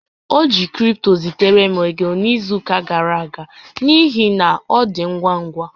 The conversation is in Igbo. O ji cripto zitere m ego n'izu ụka gara aga n'ihi na ọ na-adị ngwa ngwa